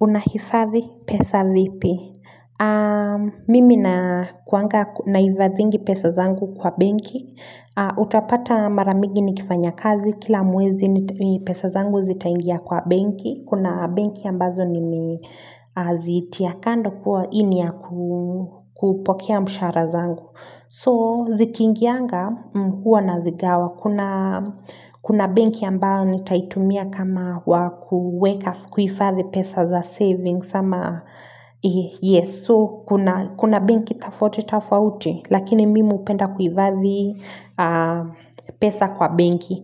Unahifadhi pesa vipi? Mimi nakuanga nahifadhingi pesa zangu kwa benki. Utapata mara migi nikifanya kazi. Kila mwezi pesa zangu zitaingia kwa benki. Kuna benki ambazo nime zitia kando kuwa hii ni ya kupokea mshahara zangu. So zikiingianga huwa nazigawa kuna. Kuna benki ambao nitaitumia kama wa kuweka kuhifathi pesa za savings ama yes so. Kuna benki tafouti tofauti lakini mimi hupenda kuivathi pesa kwa benki.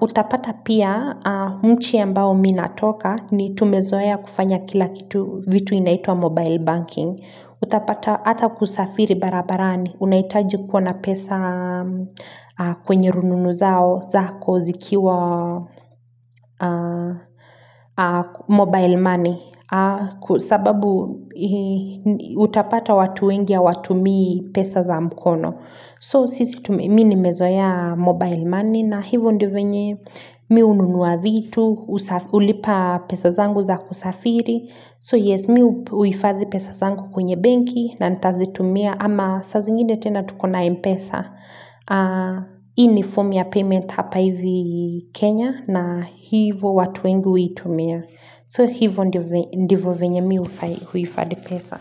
Utapata pia nchi ambayo mi natoka ni tumezoea kufanya kila kitu vitu inaitua mobile banking. Utapata ata kusafiri barabarani unahitaji kuwa na pesa kwenye rununu zao zako zikiwa mobile money sababu hii utapata watu wengi hawatumii pesa za mkono So sisi tume mi nimezoea mobile money na hivo ndio venye mi hununua vitu husaf Hulipa pesa zangu za kusafiri So yes mi huhifadhi pesa zangu kwenye benki na ntazitumia ama sa zingine tena tuko na mpesa Hii ni fomu ya payment hapa hivi Kenya na hivo watu wengu huitumia So hivo ndivo venye mi huhifadhi pesa.